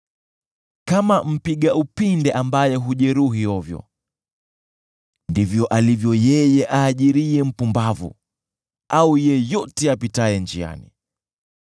Kama mpiga upinde ambaye hujeruhi ovyo, ndivyo alivyo yeye aajiriye mpumbavu au yeyote apitaye njiani.